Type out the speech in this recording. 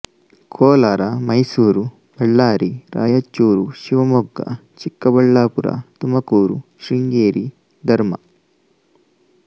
ಕೋಲಾರ ಮೈಸೂರು ಬಳ್ಳಾರಿ ರಾಯಚೂರು ಶಿವಮೊಗ್ಗಚಿಕ್ಕಬಳ್ಳಾಪುರ ತುಮಕೂರು ಶೃಂಗೇರಿ ಧರ್ಮ